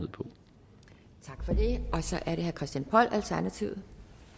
og så er det herre christian poll alternativet